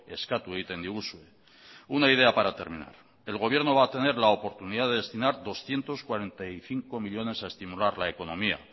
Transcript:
eskatu egiten diguzue una idea para terminar el gobierno va a tener la oportunidad de destinar doscientos cuarenta y cinco millónes a estimular la economía